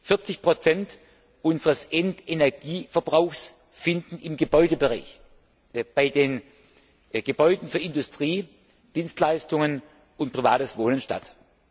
40 Prozent unseres Endenergieverbrauchs finden im Gebäudebereich bei den Gebäuden für Industrie, Dienstleistungen und privates Wohnen statt.